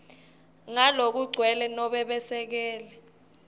ngalokugcwele nobe besekele